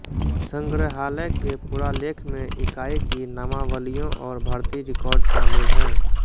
संग्रहालय के पुरालेख में इकाई की नामावलियों और भर्ती रिकॉर्ड शामिल हैं